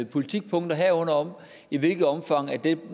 politikpunkter herunder om i hvilket omfang den